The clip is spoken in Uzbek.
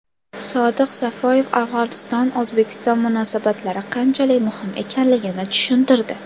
Sodiq Safoyev Afg‘onistonO‘zbekiston munosabatlari qanchalik muhim ekanligini tushuntirdi.